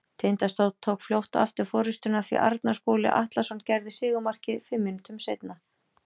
Tindastóll tók fljótt aftur forystuna því Arnar Skúli Atlason gerði sigurmarkið fimm mínútum síðar.